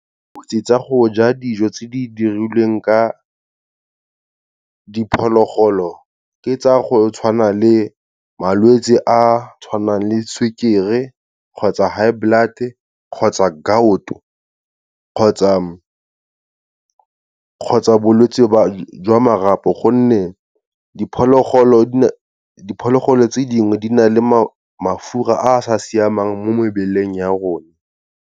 Dikotsi sa go ja dijo tse di dirilweng ka diphologolo ke tsa go tshwana le, malwetsi a tshwanang le sukiri kgotsa high blood-e, kgotsa gout-o, kgotsa bolwetsi ba, jwa marapo gonne diphologolo tse dingwe di na le mafura a a sa siamang mo mebeleng ya rona.